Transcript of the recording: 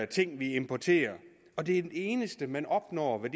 ting vi importerer og det eneste man opnår ved